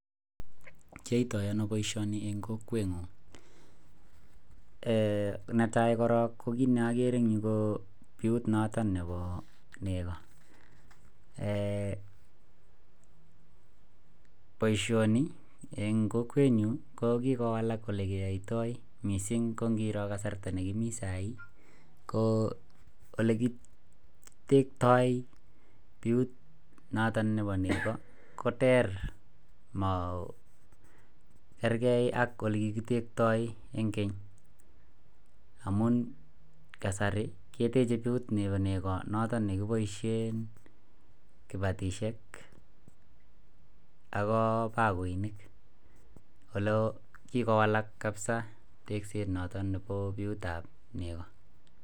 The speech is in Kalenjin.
Netai ko kit ne akere ing nyuu ko biut notok neboo negoo baishanii eng kokwet nyuu ko kikowalak missing eng kokwet nyuu amuu olekitektai natok boo negoo koter ang neboo keny amuu kasarii kebaishee batishek